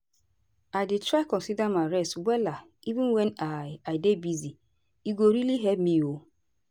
i dey try consider my rest wella even wen i i dey busy- e go really help me o.